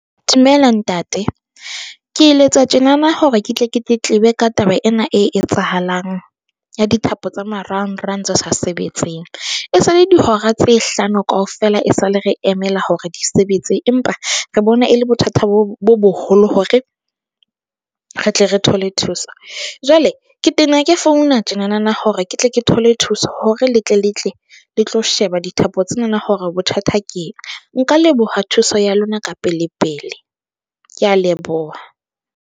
Dumela ntate, ke letsa tjenana hore ke tle ke tletlebe ka taba ena e etsahalang, ya dithapo tsa marangrang tse sa sebetseng esale dihora tse hlano kaofela e sale re emela hore di sebetse, empa re bone e le bothata bo bo boholo hore re tle re thole thuso. Jwale ke tena ke founa tjena na na hore ke tle ke thole thuso hore le tle le tle le tlo sheba dithapo tsena hore bothata ke eng nka leboha thuso ya lona ka pele pele. Ke a leboha.